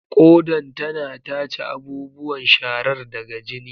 Kodan tana tace abubuwan sharar daga jini.